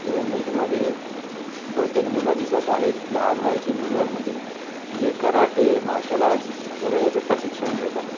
ह्या इमेज मध्ये बहुतेक मुल दिसत आहे लहान वयाचे मुल मुली जे कराटे मार्शल आर्ट्स वगेरे याचे प्रशिक्षण घेत आहेत.